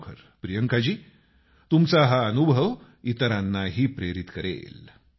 खरोखर प्रियंकाजी तुमचा हा अनुभव इतरांनाही प्रेरित करेल